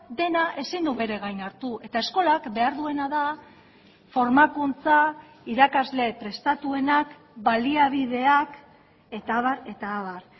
dena ezin du bere gain hartu eta eskolak behar duena da formakuntza irakasle prestatuenak baliabideak eta abar eta abar